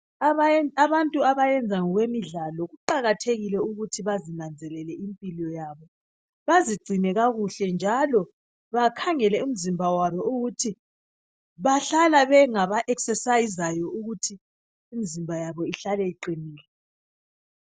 Abantu abenza ezemidlalo kuqakathekile ukuthi bazinanzelele impilo yabo bazigcine kakuhle njalo bakhangele imizimba yabo ukuthi bahlala bengaba zivoxavoxayo ukuthi imizimba yabo ihlale iqinile.